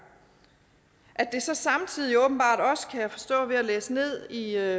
at det så samtidig åbenbart også kan jeg forstå ved at læse ned i